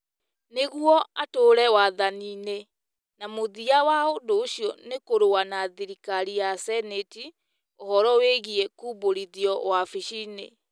nĩguo atũũre wathani-inĩ - na mũthia wa ũndũ ũcio nĩ kũrũa na thirikari ya Seneti ũhoro wĩgiĩ kũmbũrithio wabici-nĩ.